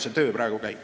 See töö praegu käib.